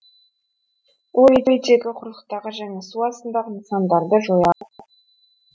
ол әуедегі құрлықтағы және су астындағы нысандарды жоя алады